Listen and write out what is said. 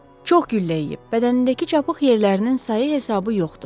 Çox güllə yeyib, bədənindəki çapıq yerlərinin sayı hesabı yoxdur.